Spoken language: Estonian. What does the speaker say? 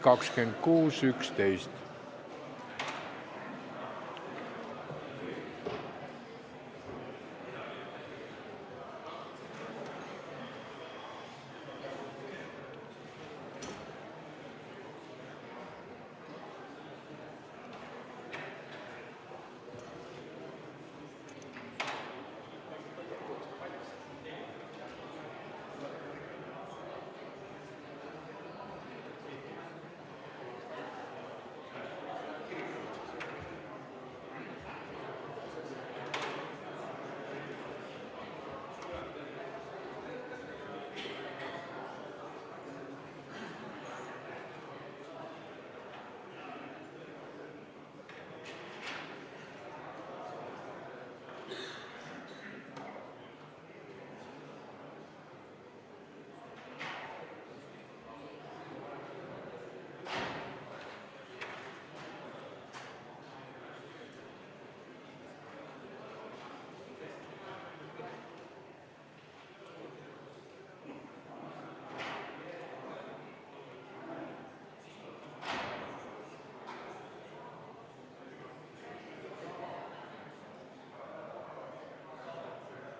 Aitäh!